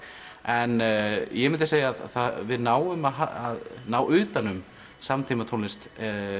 en ég myndi segja að við náum að ná utan um samtímatónlist